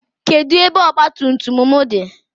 Kedụ ebe ọgba tum tum m dị?